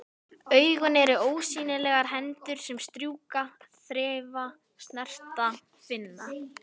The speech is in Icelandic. Augun eru ósýnilegar hendur sem strjúka, þreifa, snerta, finna.